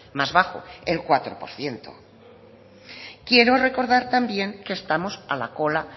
más bajo el cuatro por ciento quiero recordar también que estamos a la cola